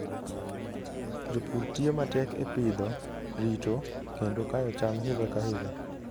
Jopur tiyo matek e pidho, rito, kendo kayo cham higa ka higa.